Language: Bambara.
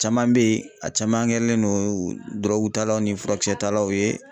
Caman bɛ yen ,a caman kɛlen don dɔrɔgutalaw ni furakisɛ talaw ye.